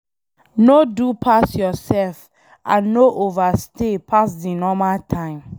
No do pass yourself and no overstay pass di normal time